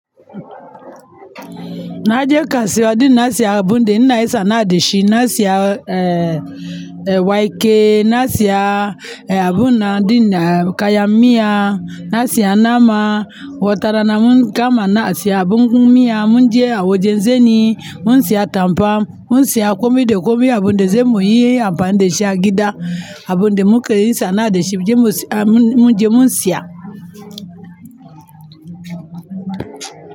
Na je kansuwa ɗin na siya abun ɗin ina yin sanaa dashi na siya, eh, eh, wake na siya, eh, abun nan ɗin na kaya miya na siya nama. Wotara na mun kama na siya habu mun miya, mun je awu je zeni mun siya tampa mun siya komai de komai abun de zemu yii ampa da shi agida abun de muke isa na adashi mun je mun siya.